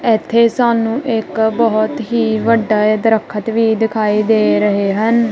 ਇੱਥੇ ਸਾਨੂੰ ਇੱਕ ਬਹੁਤ ਹੀ ਵੱਡਾ ਇਹ ਦਰੱਖਤ ਵੀ ਦਿਖਾਈ ਦੇ ਰਹੇ ਹਨ।